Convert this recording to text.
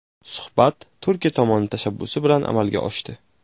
Suhbat Turkiya tomoni tashabbusi bilan amalga oshdi.